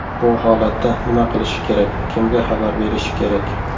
Bu holatda nima qilishi kerak, kimga xabar berishi kerak?